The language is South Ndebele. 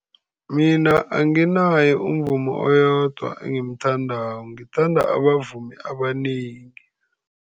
Mina anginaye umvumi oyedwa engimthandako, ngithanda abavumi abanengi.